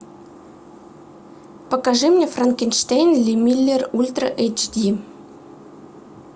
покажи мне франкенштейн ли миллер ультра эйч ди